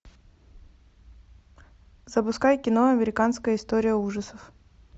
запускай кино американская история ужасов